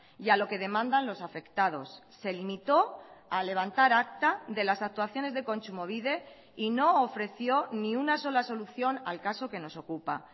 y a lo que demandan los afectados se limitó a levantar acta de las actuaciones de kontsumobide y no ofreció ni una sola solución al caso que nos ocupa